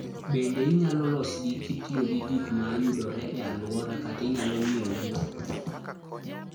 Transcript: Bende inyalo losgi kitiyo gi gik ma yudore e alworano kata inyalo ng'iewgi.